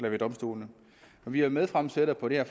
og ved domstolene vi er medfremsættere på det her